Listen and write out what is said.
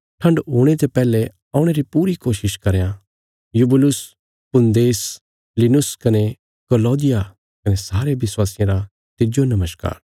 ठण्ड हुणे ते पैहले औणे री पूरी कोशिश करयां यूबुलुस पूदेंस लिनुस कने क्लौदिया कने सारे विश्वासियां रा तिज्जो नमस्कार